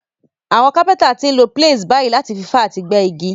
Àwon carpenter ti n lo planes bàyí láti fi fá àti gbẹ́ igi